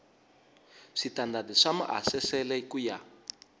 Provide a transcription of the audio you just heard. switandati swa maasesele ku ya